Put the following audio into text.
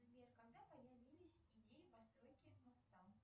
сбер когда появились идеи постройки моста